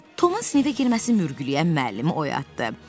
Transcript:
Tomun sinifə girməsi mürgüləyən müəllimi oyatdı.